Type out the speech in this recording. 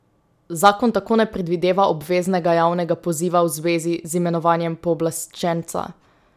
Zakon tako ne predvideva obveznega javnega poziva v zvezi z imenovanjem pooblaščenca.